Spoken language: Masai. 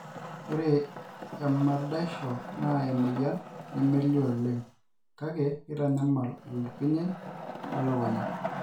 ore emadaisho naa emoyian nemelio oleng kake keitanyamal oloipirnyiny le lukunya